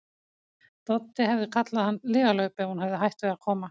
Doddi hefði kallað hann lygalaup ef hún hefði hætt við að koma.